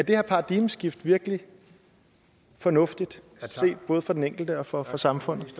her paradigmeskifte virkelig fornuftigt set både fra den enkeltes og fra fra samfundets